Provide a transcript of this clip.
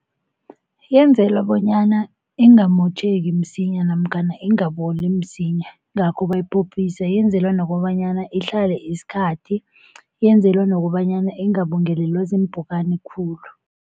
Yenzelwe bonyana ingamotjheki msinya namkhana ingaboli msinya ingakho bayiphophisa, yenzelwe nokobanyana ihlale isikhathi, yenzelwe nokobanyana ingabungelelwa ziimpukani khulu.